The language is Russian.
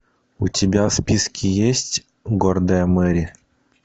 у тебя в списке есть гордая мэри